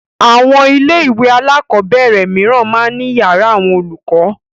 Àwọn ilé-ìwé alákọ̀ọ́bẹ̀rẹ̀ mìíràn máa ń ní ìyàrá àwọn olùkọ́.